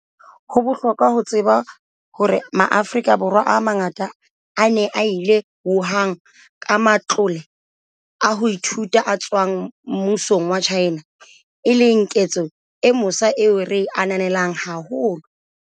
Ho bohlokwa ho tseba hore Maafrika Borwa a mangatanyana a ne a ile Wuhan ka matlole a ho ithuta a tswang mmusong wa China, e leng ketso e mosa eo re e ananelang haholo.